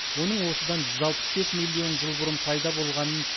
оның осыдан жүз алпыс бес миллион жыл бұрын пайда болғанын